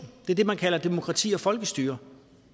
det er det man kalder demokrati og folkestyre